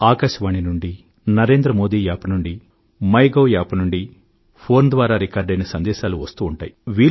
ఆకాశవాణి నుండీ NarendraModiApp నుండీ MyGov ద్వారాను ఫోన్ ద్వారాను రికార్డయిన సందేశాలు వెల్లువెత్తుతూ ఉంటాయి